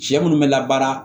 Cɛ munnu bɛ labaara